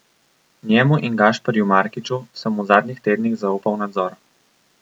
Njemu in Gašperju Markiču sem v zadnjih tednih zaupal nadzor.